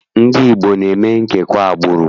Ndị Igbo ana eme nkewa agbụrụ?